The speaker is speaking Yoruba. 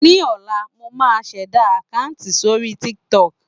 Ní ọ̀la, mo máa ṣẹ̀dá àkáǹtì sórí Tik Tok.